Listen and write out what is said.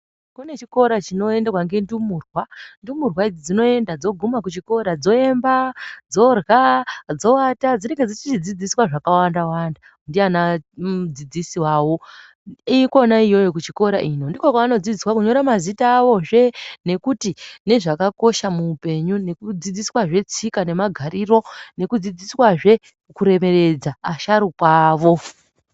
Kune chikora chinoendwa ngendumurwa. Ndumurwa idzi dzinoenda dzokuma kuchikora dzoemba, dzorya, dzoata, dzinenge dzichidzidziswa zvakawandawanda ndiana mudzidzisi vavo. Ikona iyoyo kuchikora ino ndiko kwevanodzidziswa kunyora mazita avozve nekuti nezvakakosha muupenyu, nekudzidziswazve tsika nemagariro, nekudzidziswazve kuremeredza asharukwa avo.